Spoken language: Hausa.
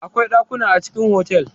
Akwai ɗakuna a cikin hotel.